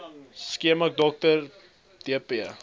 skema dr dp